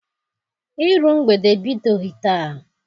Iru mgbede ebidoghị taa.